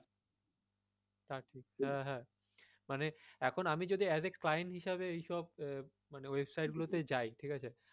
থাকে হ্যাঁ হ্যাঁ মানে আমি যদি as a client হিসাবে এইসব মানে website গুলো তে যাই ঠিক আছে?